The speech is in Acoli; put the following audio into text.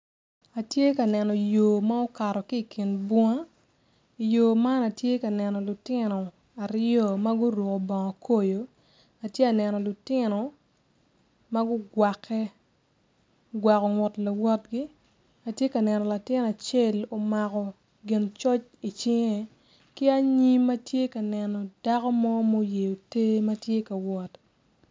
Atye ka neno yo ma okato ki ikin bung i yo man atye ka neno lutino aryo maguruko bongo koyo atye ka neno lutino magukwake ogwako ngut lawotgi atye ka neno latin acel omako gin coc i cinge ki anyim atye ka neno dako mo ma oyeo ter matye ka wot.